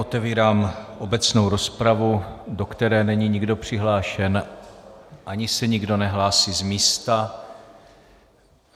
Otevírám obecnou rozpravu, do které není nikdo přihlášen, ani se nikdo nehlásí z místa.